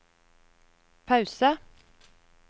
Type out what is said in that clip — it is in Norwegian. pause